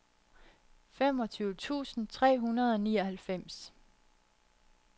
femogtyve tusind tre hundrede og nioghalvfems